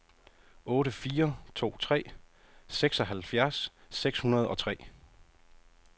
otte fire to tre seksoghalvfjerds seks hundrede og tre